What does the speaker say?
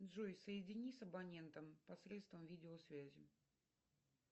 джой соедини с абонентом посредством видео связи